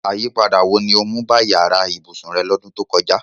Àyípadà wo ni o mu ba yàra ibùsùn re lọ́dún to kojá?